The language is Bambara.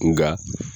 Nka